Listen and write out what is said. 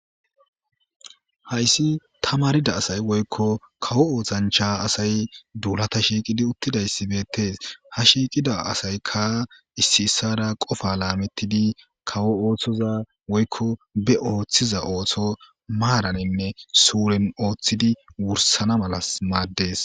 Hayiss tamaridda assayi woyikko kawo ossanicha assayi dullata shiqidi utidayissi bettesi. Ha shiqida assayi issoyi issara qofa lammetidi kawo osso othiza osso sureni othidi wurissana mela maddesi.